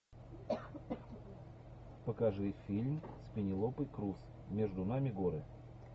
покажи фильм с пенелопой крус между нами горы